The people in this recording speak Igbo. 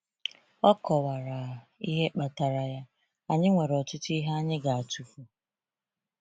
O kọwara ihe kpatara ya: “Anyị nwere ọtụtụ ihe anyị ga-atụfu.